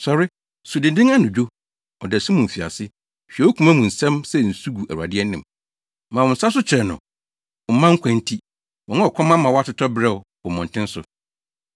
Sɔre, su dennen anadwo, ɔdasu mu mfiase; hwie wo koma mu nsɛm sɛ nsu gu Awurade anim. Ma wo nsa so kyerɛ no wo mma nkwa nti, wɔn a ɔkɔm ama wɔatotɔ beraw wɔ mmɔnten so.